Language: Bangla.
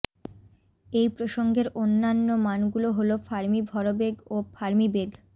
এই প্রসংগের অন্যান্য মান গুলো হল ফার্মি ভরবেগ ও ফার্মি বেগঃ